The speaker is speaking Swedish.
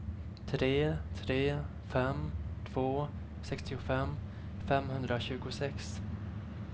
tre tre fem två sextiofem femhundratjugosex